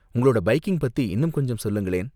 உங்களோட பைக்கிங் பத்தி இன்னும் கொஞ்சம் சொல்லுங்களேன்.